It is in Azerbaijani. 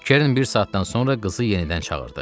Kern bir saatdan sonra qızı yenidən çağırdı.